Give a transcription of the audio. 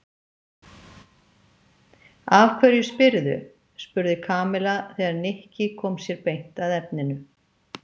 Af hverju spyrðu? spurði Kamilla þegar Nikki kom sér beint að efninu.